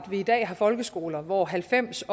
vi i dag har folkeskoler hvor halvfems